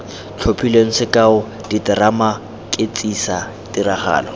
tlhophilweng sekao diterama ketsisa tiragalo